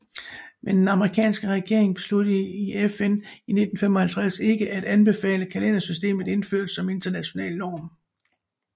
Men den amerikanske regering besluttede i FN i 1955 ikke at anbefale kalendersystemet indført som international norm